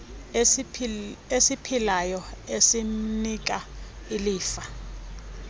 esiphilayo esimnika ilifa